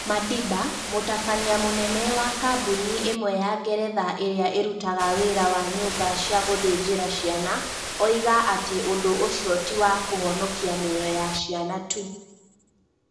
Madiba, mũtabania mũnene wa kambuni ĩmwe ya Ngeretha ĩrĩa ĩrutaga wĩra wa nyumba cia gũthenjera ciana, oiga atĩ ũndũ ũcio ti wa kũhonokia mĩoyo ya ciana tu